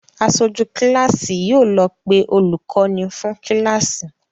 Aṣojú kíláàsì yóò lọ pé olùkọ́ní fún kíláàsì.